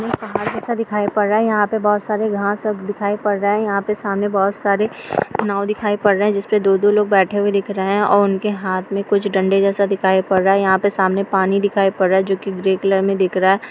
यह पहाड़ जैसा दिखाई पड़ रहा है। यहां पर बहुत सारे घांस दिखाई पड़ रहे हैं। यहाँ पे सामने बहोत सारे नाव दिखाई पड़ रहे हैं जिसमे दो-दो लोग बैठे हुए दिख रहे हैं। और उनके हाथ में डंडे जैसे दिखाई पड़ रहा है। और सामने पानी दिखाई पड़ रहा है जो की ग्रे कलर में दिख रहा है।